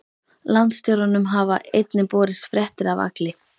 Landstjóranum hafa einnig borist fréttir af Agli